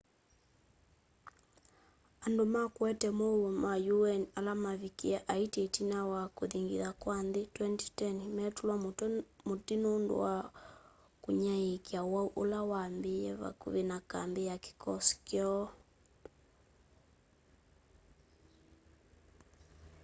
andu ma kuete muuo ma un ala mavikie haiti itina wa kuthingitha kwa nthi 2010 metulwa muti nundu wa kunyaiikya uwau ula wambiie vakuvi na kambi ya kikosi kyoo